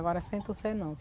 Agora Centro-Sé não.